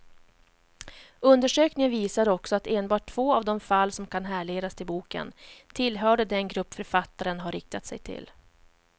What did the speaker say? Undersökningen visar också att enbart två av de fall som kan härledas till boken tillhörde den grupp författaren har riktat sig till.